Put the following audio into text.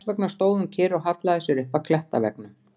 Þess vegna stóð hún kyrr og hallaði sér upp að klettaveggnum.